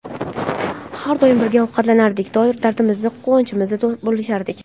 Har doim birga ovqatlanardik, dardimizni, quvonchimizni bo‘lishardik.